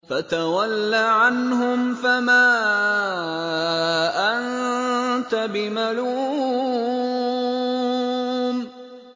فَتَوَلَّ عَنْهُمْ فَمَا أَنتَ بِمَلُومٍ